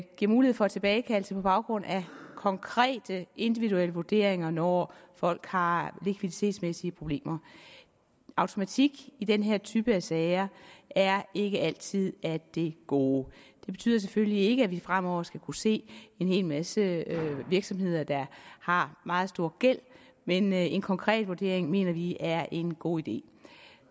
giver mulighed for tilbagekaldelse på baggrund af konkrete individuelle vurderinger når folk har likviditetsmæssige problemer automatik i den her type sager er ikke altid af det gode det betyder selvfølgelig ikke at vi fremover skal kunne se en hel masse virksomheder der har meget stor gæld men en konkret vurdering mener vi er en god idé